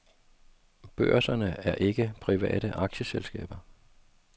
Børserne er ikke private aktieselskaber.